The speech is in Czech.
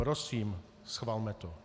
Prosím, schvalme to.